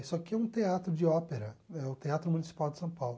Isso aqui é um teatro de ópera, é o Teatro Municipal de São Paulo.